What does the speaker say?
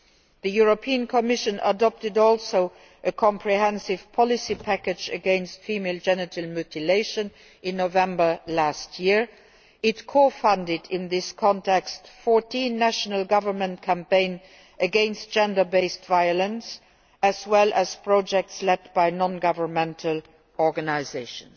The European Commission also adopted a comprehensive policy package against female genital mutilation in November2013. It co funded, in this context, 14 national governments' campaigns against gender based violence, as well as projects led by non governmental organisations.